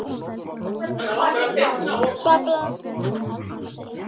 Það vill víst enginn.